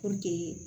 Puruke